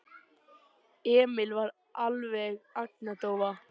Emil var alveg agndofa.